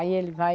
Aí ele vai...